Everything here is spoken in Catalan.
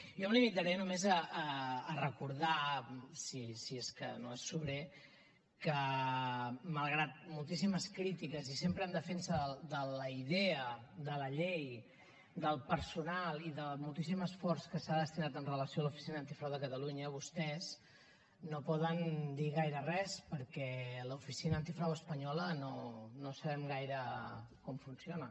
jo em limitaré només a recordar si és que no és sobrer que malgrat moltíssimes crítiques i sempre en defensa de la idea de la llei del personal i del moltíssim esforç que s’ha destinat amb relació a l’oficina antifrau de catalunya vostès no poden dir gaire res perquè l’oficina antifrau espanyola no sabem gaire com funciona